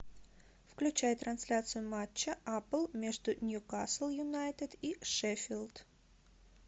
включай трансляцию матча апл между ньюкасл юнайтед и шеффилд